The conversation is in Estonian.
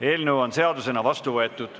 Eelnõu on seadusena vastu võetud.